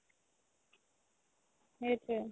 সেইটোৱে